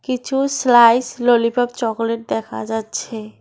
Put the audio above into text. কিছু slice lollipop chocolate দেখা যাচ্ছে।